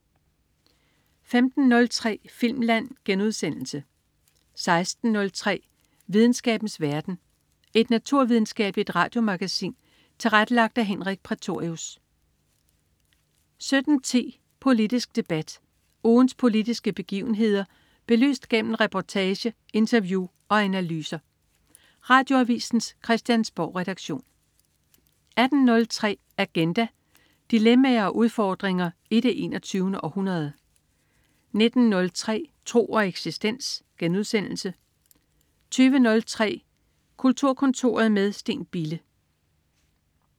15.03 Filmland* 16.03 Videnskabens verden. Et naturvidenskabeligt radiomagasin tilrettelagt af Henrik Prætorius 17.10 Politisk debat. Ugens politiske begivenheder belyst gennem reportage, interview og analyser. Radioavisens Christiansborgredaktion 18.03 Agenda. Dilemmaer og udfordringer i det 21. århundrede 19.03 Tro og eksistens* 20.03 Kulturkontoret med Steen Bille*